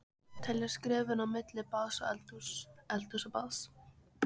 Telja skrefin á milli baðs og eldhúss, eldhúss og baðs.